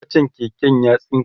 kachan keken ya tsinke